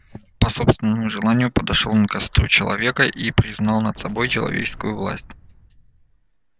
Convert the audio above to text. по собственному желанию подошёл он к костру человека и признал над собой человеческую власть